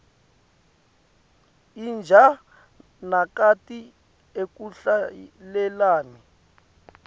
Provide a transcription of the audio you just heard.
inja nakati akuhlalelani